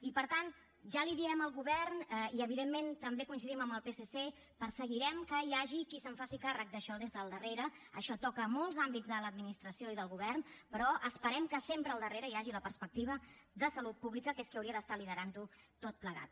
i per tant ja li diem al govern i evidentment també coincidim amb el psc perseguirem que hi hagi qui se’n faci càrrec d’això des del darrere això toca molts àmbits de l’administració i del govern però esperem que sempre al darrere hi hagi la perspectiva de salut pública que és qui hauria d’estar liderant ho tot plegat